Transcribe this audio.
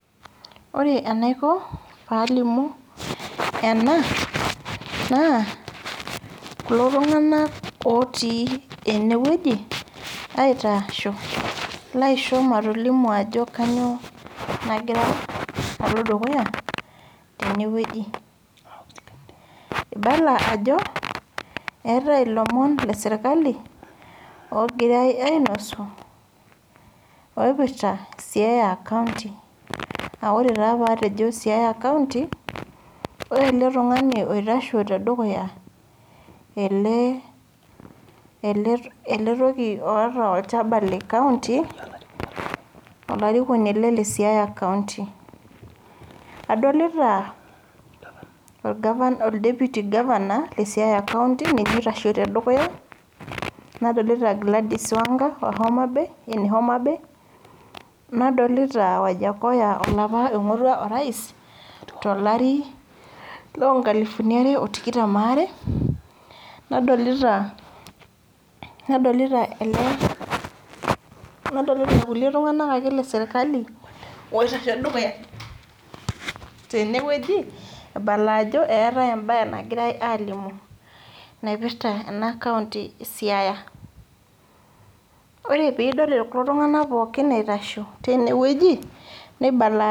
Ore enaiko palimu ena naa kulo tunganak otii enewueji aitasho laisho matolimu ajo kainyio nagira alo dukuya tenewueji. Ibala ajo eetae ilomon lesirkali ogirae ainosu oipirta siaya county .Naa ore taa patejo siaya county ore eletungani oitasho tedukuya ,ele , eletoki oota olchaba lecounty le siaya county . Adolita olgavanai, oldeputy lesiaya county ninye oitasho tedukuya , nadolita gladys wanga ehoma bay enehoma bay , nadolita wajakoya olapa oingorua orais tolari loonkaliuni are otikitam waare ,nadolita irkulie tunganak ake lesirkali oitashe tedukuya tenewueji ibala ajo eetae embae nagirae alimu naipirta enacounty esiaya . Ore pidol kulo tunganak pookin itasho tinewueji nibala ajo.